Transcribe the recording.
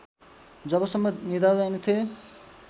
जबसम्म निदाउँदैनथेँ